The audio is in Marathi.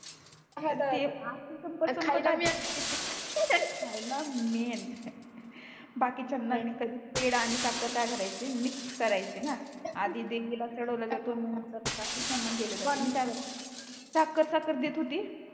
खायला मेन बाकीचांना मी कधी पेडा आणि साखर काय कारच मिक्स करायचे ना आधी देवीला चडवल जातो नंतर बाकीचांना दिल जातो कोणाला साखर साखर देत होती